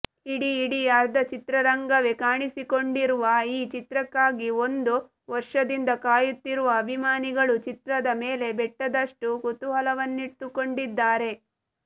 ಇಡೀ ಇಡೀ ಅರ್ಧ ಚಿತ್ರರಂಗವೇ ಕಾಣಿಸಿಕೊಂಡಿರುವ ಈ ಚಿತ್ರಕ್ಕಾಗಿ ಒಂದು ವರ್ಷದಿಂದ ಕಾಯುತ್ತಿರುವ ಅಭಿಮಾನಿಗಳು ಚಿತ್ರದ ಮೇಲೆ ಬೆಟ್ಟದಷ್ಟು ಕುತೂಹಲವನ್ನಿಟ್ಟುಕೊಂಡಿದ್ದಾರೆ